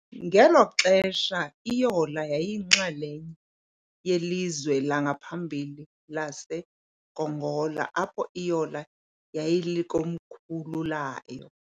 Ngelo xesha, iYola yayiyinxalenye yelizwe langaphambili laseGongola, apho iYola yayilikomkhulu layo.